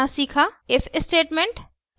if statement